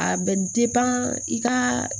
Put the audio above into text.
A bɛ i ka